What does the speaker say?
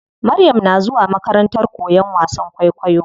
Maryam na zuwa makarantar koyan wasan kwaikwayo.